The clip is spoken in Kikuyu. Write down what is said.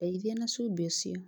Ndeithia na cumbĩ ũcio